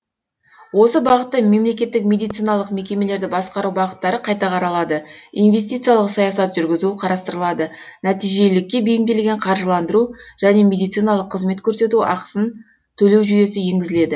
осы бағытта мемлекеттік медициналық мекемелерді басқару бағыттары қайта қаралады инвестициялық саясат жүргізу қарастырылады нәтижелілікке биімделген қаржыландыру және медициналық қызмет көрсету ақысын төлеу жүйесі енгізіледі